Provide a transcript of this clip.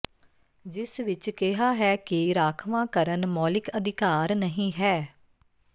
ਜਿਸ ਵਿੱਚ ਕਿਹਾ ਹੈ ਕਿ ਰਾਖਵਾਂਕਰਨ ਮੌਲਿਕ ਅਧਿਕਾਰ ਨਹੀਂ ਹੈ